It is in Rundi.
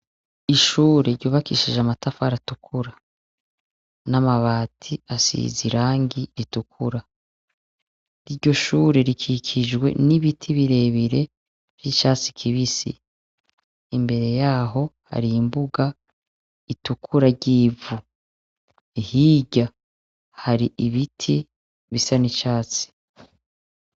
Ishure ryubakishije amatafa aratukura n'amabati asiza i rangi itukura iryo shure rikikijwe n'ibiti birebire vy'icatsi kibisi imbere yaho hari imbuga itukura ryivu hirya hari ibiti bisa n'icatsi.